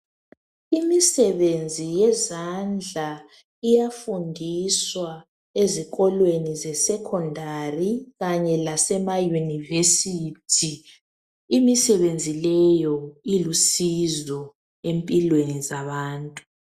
Imisebenzi yezandla iyafundiswa ezikolweni zesenkondari kanye lasemaYunivesi. Imisebenzi leyo ilusizo empilweni zabantu.